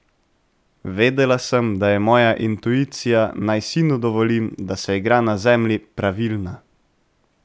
Vedela sem, da je moja intuicija, naj sinu dovolim, da se igra na zemlji, pravilna.